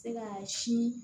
Se ka sin